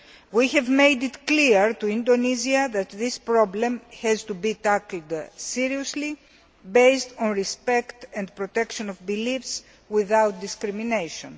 We have made it clear to Indonesia that this problem has to be tackled seriously, based on respect and protection of beliefs, without discrimination.